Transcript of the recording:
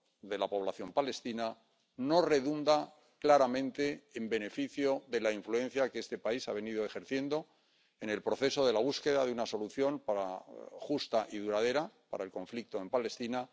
de la población palestina no redunda, claramente, en beneficio de la influencia que este país ha venido ejerciendo en el proceso de la búsqueda de una solución justa y duradera para el conflicto en Palestina.